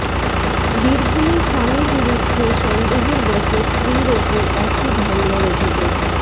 বীরভূমে স্বামীর বিরুদ্ধে সন্দেহের বশে স্ত্রীর ওপর অ্যাসিড হামলার অভিযোগ